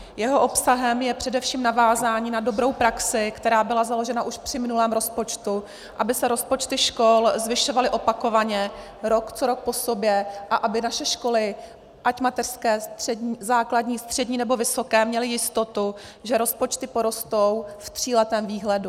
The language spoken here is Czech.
Jeho obsahem je především navázání na dobrou praxi, která byla založena už při minulém rozpočtu, aby se rozpočty škol zvyšovaly opakovaně, rok co rok po sobě, a aby naše školy, ať mateřské, základní, střední, nebo vysoké, měly jistotu, že rozpočty porostou v tříletého výhledu.